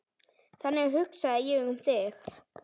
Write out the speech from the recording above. Þannig hugsaði ég um þig.